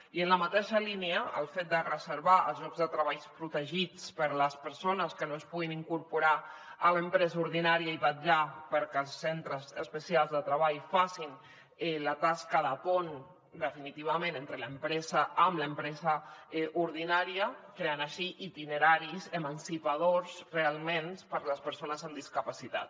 i en la mateixa línia el fet de reservar els llocs de treball protegits per a les persones que no es puguin incorporar a l’empresa ordinària i vetllar perquè els centres especials de treball facin la tasca de pont definitivament amb l’empresa ordinària creant així itineraris emancipadors realment per a les persones amb discapacitat